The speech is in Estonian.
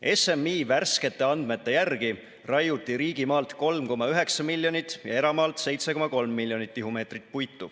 SMI värskete andmete järgi raiuti riigimaalt 3,9 miljonit ja eramaalt 7,3 miljonit tihumeetrit puitu.